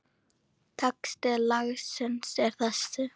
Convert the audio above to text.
Texti lagsins er þessi